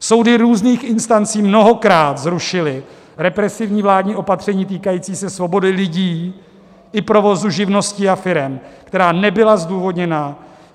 Soudy různých instancí mnohokrát zrušily represívní vládní opatření týkající se svobody lidí i provozu živností a firem, která nebyla zdůvodněna.